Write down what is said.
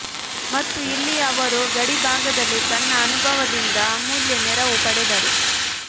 ಮತ್ತು ಇಲ್ಲಿ ಅವರು ಗಡಿಭಾಗದಲ್ಲಿ ತನ್ನ ಅನುಭವದಿಂದ ಅಮೂಲ್ಯ ನೆರವು ಪಡೆದರು